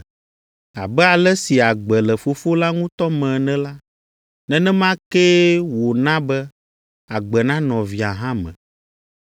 Abe ale si agbe le Fofo la ŋutɔ me ene la, nenema kee wòna be agbe nanɔ Via hã me,